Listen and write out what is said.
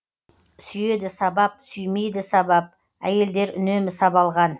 сүйеді сабап сүймейді сабап әйелдер үнемі сабалған